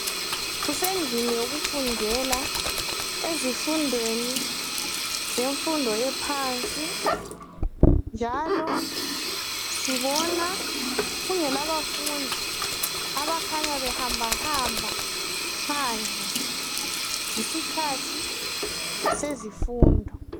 Kusendlini yokufundela ezifundweni zemfundo yaphansi njalo sibona kungelabafundi abakhanya behambahamba phandle. Yisikhathi sezifundo